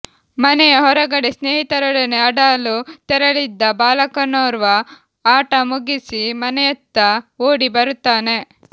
ಮನೆಯ ಹೊರಗಡೆ ಸ್ನೇಹಿತರೊಡನೆ ಅಡಲು ತೆರಳಿದ್ದ ಬಾಲಕನೋರ್ವ ಅಟ ಮುಗಿಸಿ ಮನೆಯತ್ತ ಓಡಿ ಬರುತ್ತಾನೆ